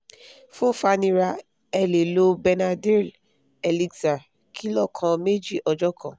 fun fàníra ẹ lè lo benadryl elixir kìlọ́ kan méjì ọjọ kan